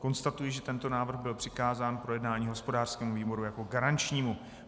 Konstatuji, že tento návrh byl přikázán k projednání hospodářskému výboru jako garančnímu.